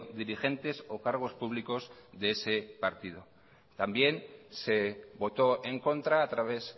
dirigentes o cargos públicos de ese partido también se votó en contra a través